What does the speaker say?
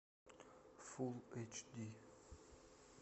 фулл эйч ди